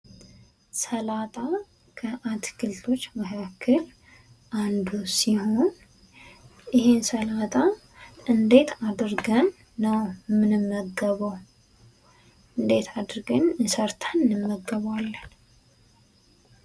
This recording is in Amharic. ሰላጣ ከአትክልቶች መካከል አንዱ ሲሆኑ፤ ይህን ስላጣ እንዴት አድርገን ነው የምንመገበው? እንዴት አድርገን ሰርተን እንመገበዋለን?